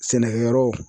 Sɛnɛkɛyɔrɔ